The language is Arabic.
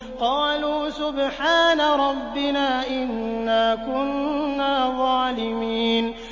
قَالُوا سُبْحَانَ رَبِّنَا إِنَّا كُنَّا ظَالِمِينَ